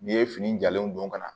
N'i ye fini jalen don ka na